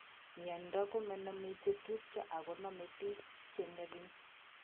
Miondo komename chetupcho ak koname piik cheng'ering'en